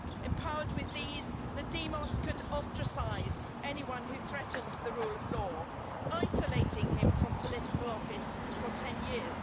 Empowered with these, the demos could ostracise anyone who threatened the rule of law, isolating him from political office for 10 years.